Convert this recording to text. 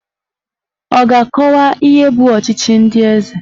Ọ ga-akọwa ihe bụ ọchịchị ndị eze?